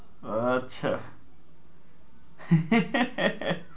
ও আচ্ছা